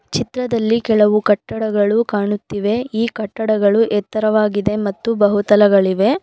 ಚಿತ್ರದಲ್ಲಿ ಕೆಲವು ಕಟ್ಟಡಗಳು ಕಾಣುತ್ತಿವೆ ಈ ಕಟ್ಟಡಗಳು ಎತ್ತರವಾಗಿದೆ ಮತ್ತು ಬಹುತಲಗಳಿವೆ.